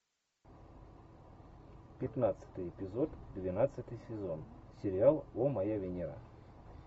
пятнадцатый эпизод двенадцатый сезон сериал о моя венера